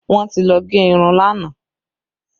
Wọn ti lọ gẹ irun lánàá